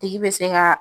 Tigi bɛ se ka